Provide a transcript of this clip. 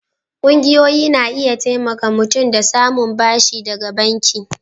ƙungiyoyi na iya taimaka mutum da samun bashi daga banki.